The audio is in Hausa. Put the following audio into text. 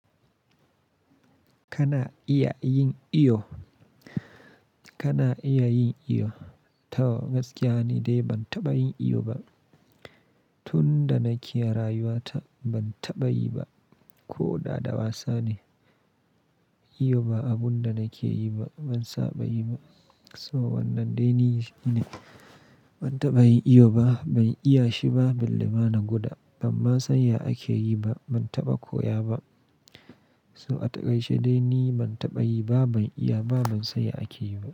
Kana iya yin iyo? Kana iya yin iyo? To gaskiya ni dai ban taɓa yin iyo ba. Tun da nake rayuwa ta ban taɓa yi ba. Ko dada wasa ne, iyo ba abun da nake yi ba, ban saba yi ba. So wannan dai ni ne, ban taɓa yin iyo ba, ban iya shi ba, bal lema na gwada, ban ma san ya ake yi ba, ban taɓa koya ba. So a takaice dai ni ban taɓa yi ba, ban iya ba, ban san ya ake yi ba.